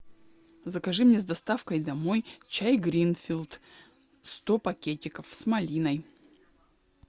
закажи мне с доставкой домой чай гринфилд сто пакетиков с малиной